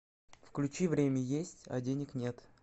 включи время есть а денег нет